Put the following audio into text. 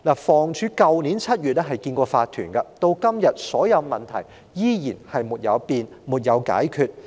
房屋署曾於去年7月接見業主立案法團，但至今所有問題依然沒有改變、沒有解決。